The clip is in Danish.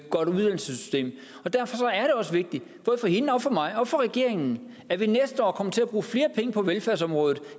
godt uddannelsessystem og derfor er det også vigtigt både for hende og for mig og for regeringen at vi næste år kommer til at bruge flere penge på velfærdsområdet